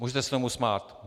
Můžete se tomu smát.